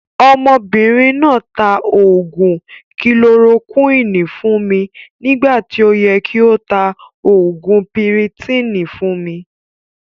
Ọmọbìnrin náà taa oògún "kilorokúinì" fún mi nígbà tí ó yẹ kí o tá oògùn piritiìni fún mi